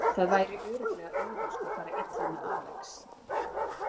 Það væri örugglega auðvelt að fara illa með Alex.